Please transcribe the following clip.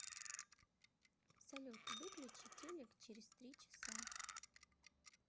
салют выключи телек через три часа